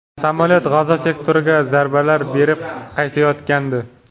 Samolyot G‘azo sektoriga zarbalar berib qaytayotgandi.